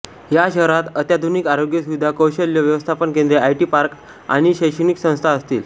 या शहरांत अत्याधुनिक आरोग्य सुविधा कौशल्य व्यवस्थापन केंद्रे आयटी पार्क आणि शैक्षणिक संस्था असतील